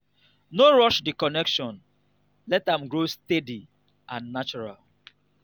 no rush the connection let am grow steady and natural